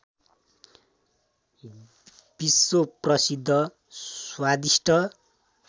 विश्वप्रसिद्ध स्वादिष्ट